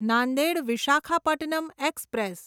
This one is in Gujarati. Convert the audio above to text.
નાંદેડ વિશાખાપટ્ટનમ એક્સપ્રેસ